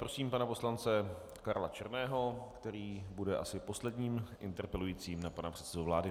Prosím pana poslance Karla Černého, který bude asi posledním interpelujícím na pana předsedu vlády.